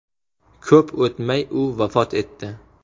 Ko‘p o‘tmay u vafot etdi.